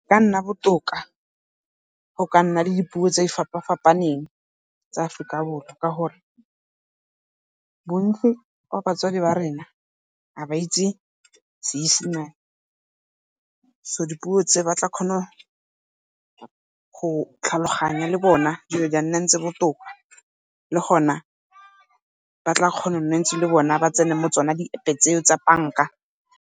Go ka nna botoka go ka nna le dipuo tse di fapa-fapaneng tsa Aforika Borwa, ka gore bontsi ba batswadi ba rona ga ba itse Seesemane. So dipuo tse ba tla kgona go tlhaloganya le bona dilo di botoka. Le gona ba tla kgona ntse le bona ba tsena mo di-App-e tseo tsa banka.